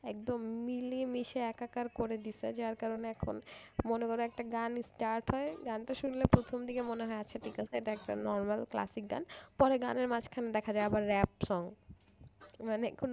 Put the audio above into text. একদম মিলে মিশে একাকার করে দিয়েছে যার কারণে এখন মনে করো একটা গান start হয় গানটা শুনলে প্রথম দেখে মনে হয় আচ্ছা ঠিক আছে এটা একটা normal classic গান পরে গানের মাঝখানে দেখা যায় আবার rap songs মানে কোন